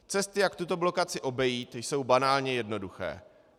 Cesty, jak tuto blokaci obejít, jsou banálně jednoduché.